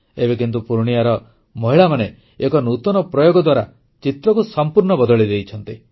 ଏବେ କିନ୍ତୁ ପୂର୍ଣ୍ଣିୟାର ମହିଳାମାନେ ଏକ ନୂତନ ପ୍ରୟୋଗ ଦ୍ୱାରା ଚିତ୍ରକୁ ସମ୍ପୂର୍ଣ୍ଣ ବଦଳେଇ ଦେଇଛନ୍ତି